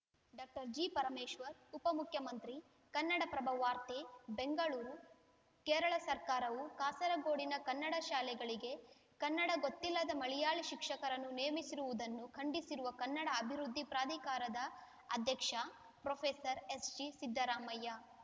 doctor G Parameshwar ಉಪಮುಖ್ಯಮಂತ್ರಿ ಕನ್ನಡಪ್ರಭ ವಾರ್ತೆ ಬೆಂಗಳೂರು ಕೇರಳ ಸರ್ಕಾರವು ಕಾಸರಗೋಡಿನ ಕನ್ನಡ ಶಾಲೆಗಳಿಗೆ ಕನ್ನಡ ಗೊತ್ತಿಲ್ಲದ ಮಲೆಯಾಳಿ ಶಿಕ್ಷಕರನ್ನು ನೇಮಿಸಿರುವುದನ್ನು ಖಂಡಿಸಿರುವ ಕನ್ನಡ ಅಭಿವೃದ್ಧಿ ಪ್ರಾಧಿಕಾರದ ಅಧ್ಯಕ್ಷ ಪ್ರೊಫೆಸರ್ ಎಸ್‌ಜಿಸಿದ್ದರಾಮಯ್ಯ